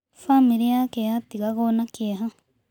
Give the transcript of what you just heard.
Bamĩrĩ yake yatigagwo na kĩeha